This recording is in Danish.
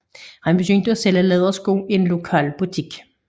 Han begyndte at sælge lædersko i en lokal butik